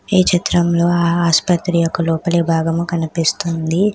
ఈ చిత్రంలో ఆ ఆసుపత్రి యొక్క లోపలి భాగము కనిపిస్తుంది.